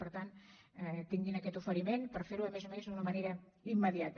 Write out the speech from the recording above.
per tant tinguin aquest oferiment per fer ho a més a més d’una manera immediata